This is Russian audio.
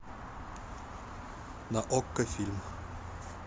на окко фильм